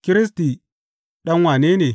Kiristi, ɗan wane ne?